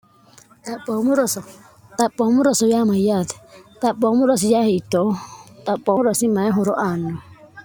xhomu roso xaphoommu roso yamayyaate xaphoommu rosiya hiitto xaphoomu rosi maye horo aanno